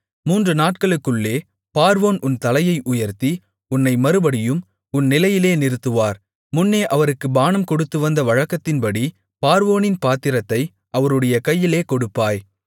மூன்று நாட்களுக்குள்ளே பார்வோன் உன் தலையை உயர்த்தி உன்னை மறுபடியும் உன் நிலையிலே நிறுத்துவார் முன்னே அவருக்கு பானம் கொடுத்துவந்த வழக்கத்தின்படி பார்வோனின் பாத்திரத்தை அவருடைய கையிலே கொடுப்பாய்